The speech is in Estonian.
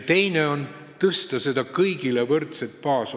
Teine võimalus on suurendada seda kõigil võrdset baasosa.